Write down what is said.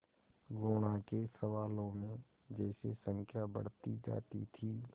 गुणा के सवालों में जैसे संख्या बढ़ती जाती थी